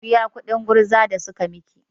Ki biya kuɗin gurza da suka miki!